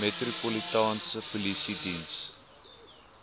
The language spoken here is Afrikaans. metropolitaanse polisie diens